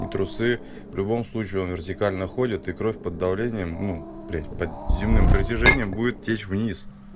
и трусы в любом случае он вертикально ходят и кровь под давлением ну блять под земным притяжением будет течь вниз